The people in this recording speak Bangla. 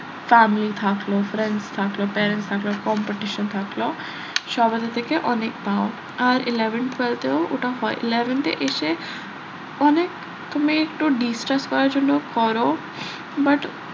family থাকলো friends থাকলো parents থাকলো competition থাকলো সবারের থেকে অনেক পাও আর eleventh twelfth তেও ওটা হয় eleventh এ এসে অনেক তুমি একটু distress করার জন্য করো but